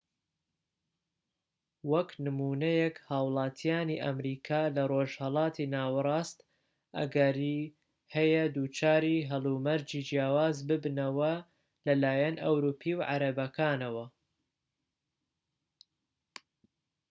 وەکو نمونەیەك هاوڵاتیانی ئەمریکا لە ڕۆژهەڵاتی ناوەڕاست ئەگەری هەیە دووچاری هەلومەرجی جیاواز ببنەوە لەلایەن ئەوروپی و عەرەبەکانەوە